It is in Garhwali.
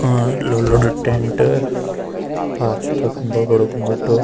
और लो लोड टेंट पाछ तख बडू-बडू बूट।